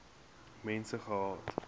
mense gehad